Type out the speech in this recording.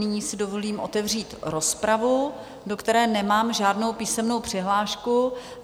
Nyní si dovolím otevřít rozpravu, do které nemám žádnou písemnou přihlášku.